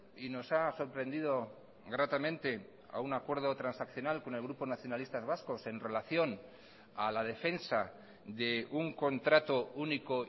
y nos ha sorprendido gratamente a un acuerdo transaccional con el grupo nacionalistas vascos en relación a la defensa de un contrato único